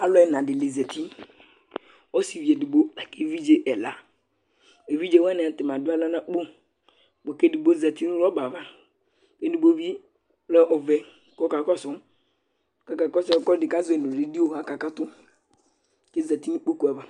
alu ɛna dini zati, ɔsivi edigbo la ku evidze ɛla, evidze wʋani ata ni adu aɣla nu akpo bʋa ku evidze edigbo zati nu rɔba ava, ku edigbo bi lɛ ɔvɛ ku ɔka kɔsu, kɔka kɔsu ɛkʋɛdi azʋɛ nu video aka katu ke zati nu ikpoku ava